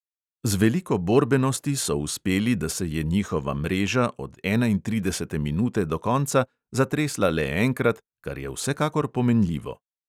Z veliko borbenosti so uspeli, da se je njihova mreža od enaintridesete minute do konca zatresla le enkrat, kar je vsekakor pomenljivo.